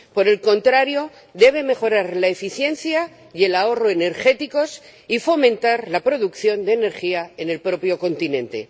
Por el contrario, debe mejorar la eficiencia y el ahorro energéticos y fomentar la producción de energía en el propio continente.